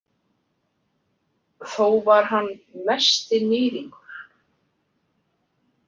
Þó var hann mesti níðingur.